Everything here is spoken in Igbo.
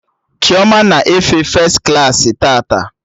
Chioma na-efe fes klaasị tata